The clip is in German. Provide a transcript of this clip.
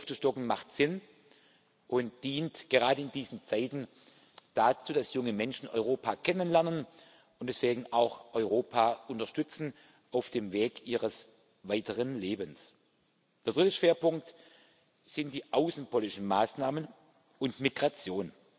Hier aufzustocken macht Sinn und dient gerade in diesen Zeiten dazu, dass junge Menschen Europa kennenlernen und deswegen auch Europa unterstützen auf dem Weg ihres weiteren Lebens. Der dritte Schwerpunkt sind die außenpolitischen Maßnahmen und Migration.